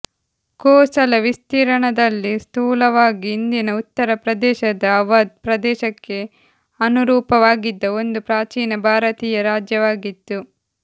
ಕೋಸಲ ವಿಸ್ತೀರ್ಣದಲ್ಲಿ ಸ್ಥೂಲವಾಗಿ ಇಂದಿನ ಉತ್ತರ ಪ್ರದೇಶದ ಅವಧ್ ಪ್ರದೇಶಕ್ಕೆ ಅನುರೂಪವಾಗಿದ್ದ ಒಂದು ಪ್ರಾಚೀನ ಭಾರತೀಯ ರಾಜ್ಯವಾಗಿತ್ತು